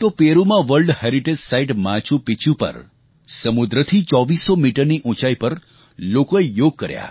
તો પેરુમાં world heritage site Machu Picchu પર સમુદ્રથી 2400 મીટરની ઉંચાઈ પર લોકોએ યોગ કર્યા